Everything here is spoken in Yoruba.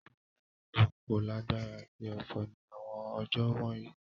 Asenali ologun ko lagbara ati ofo ni awọn ọjọ wọnyi.